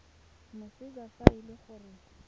moseja fa e le gore